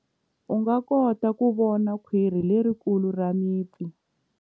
U nga kota ku vona khwiri lerikulu ra mipfi.